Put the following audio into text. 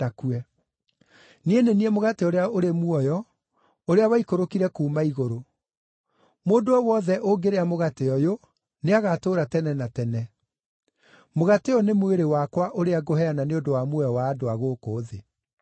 Niĩ nĩ niĩ mũgate ũrĩa ũrĩ muoyo ũrĩa waikũrũkire kuuma igũrũ. Mũndũ o wothe ũngĩrĩa mũgate ũyũ, nĩagatũũra tene na tene. Mũgate ũyũ nĩ mwĩrĩ wakwa ũrĩa ngũheana nĩ ũndũ wa muoyo wa andũ a gũkũ thĩ.”